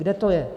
Kde to je?